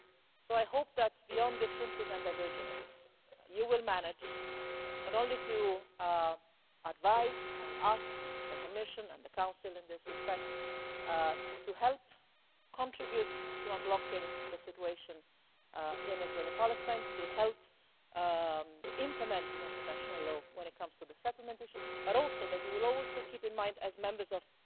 So I hope that, beyond differences and divergences, you will manage not only to advise and ask the Commission and the Council in this respect to help contribute to unblocking the situation in Israel and Palestine, to help implement international law when it comes to the settlement issues, but also that you will always keep in mind, as Members of